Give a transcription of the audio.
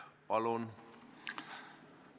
Palun!